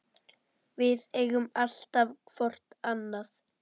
Við eigum alltaf hvort annað.